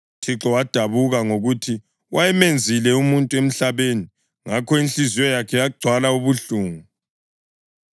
UThixo wadabuka ngokuthi wayemenzile umuntu emhlabeni, ngakho inhliziyo yakhe yagcwala ubuhlungu.